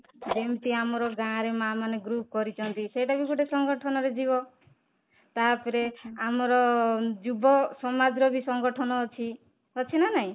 ଯେମିତି ଆମର ଗାଁରେ ମା ମାନେ ଗ୍ରୁପ କରିଛନ୍ତି ସେଇଟା ବି ଗୋଟେ ସଂଗଠନ ରେ ଯିବ ତାପରେ ଆମର ଯୁବ ସମାଜର ବି ସଂଗଠନ ଅଛି, ଅଛି ନା ନାଇଁ?